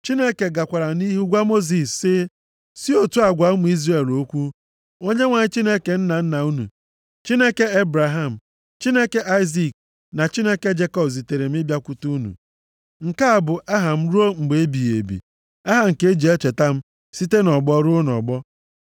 Chineke gakwara nʼihu gwa Mosis sị, Si otu a gwa ụmụ Izrel okwu. “ Onyenwe anyị, Chineke nna nna unu, Chineke Ebraham, Chineke Aịzik na Chineke Jekọb, zitere m ịbịakwute unu.” Nke a bụ aha m ruo mgbe ebighị ebi, aha nke e ji echeta m site nʼọgbọ ruo nʼọgbọ.